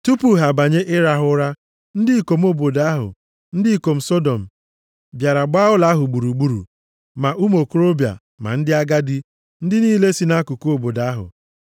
Tupu ha abanye ịrahụ ụra, ndị ikom obodo ahụ, ndị ikom Sọdọm, bịara gbaa ụlọ ahụ gburugburu, ma ụmụ okorobịa ma ndị agadi, ndị niile si nʼakụkụ obodo ahụ.